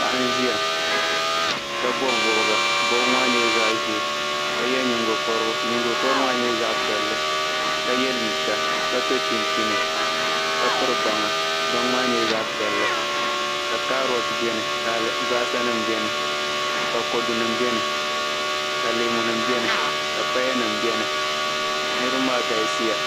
Paɣi nziya. kabɔbi bɔbga bɔbgi maa nyɛla zaɣizɛɛ. ka ye nyingo korigu, nyingo korigu nyɛla zaɣi piɛli ka ye liiga. kaso chinchini ka piri baŋa baŋ maa nyɛla zaɣi piɛli ka kaaroti beni ka albasanim beni, ka kodunim beni ka leemu nim beni ka pyanim beni niribi maa galisiya